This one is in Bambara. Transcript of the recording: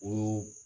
Olu